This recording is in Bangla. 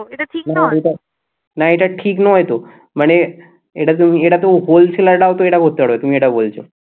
না এটা ঠিক নয় তো মানে এটা তো এটা তো wholesaler রাও তো এটা করতে পারবে তুমি এটা বলছো